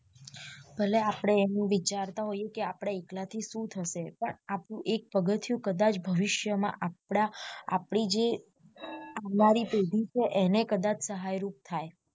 ભલે આપડે એવું વિચારતા હોઈએ કે આપડા એકલા થી શું થશે પણ આપણું એક પગથિયું જો કદાચ ભવિષ્ય માં આપડા આપડી જે આવનારી પેેેેઢી છે એને કદાચ સહાય રૂપ થાય